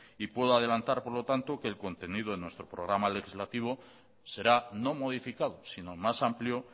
y puedo adelantar por lo tanto que el contenido en nuestro programa legislativo será no modificado sino más amplio